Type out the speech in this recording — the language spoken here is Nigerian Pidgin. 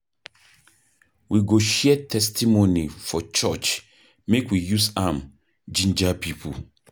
We go share testimony for church make we use am jinja pipo.